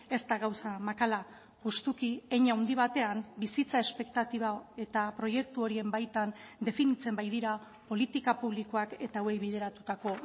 ez da gauza makala justuki hein handi batean bizitza espektatiba eta proiektu horien baitan definitzen baitira politika publikoak eta hauei bideratutako